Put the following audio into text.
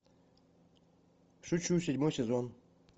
шучу седьмой сезон